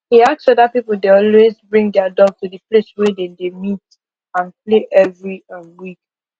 he ask whether people dey always bring their dog to the place wey they dey meet and play every um week